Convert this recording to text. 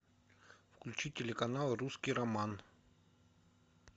включи телеканал русский роман